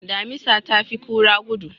Damisa ta fi kura gudu.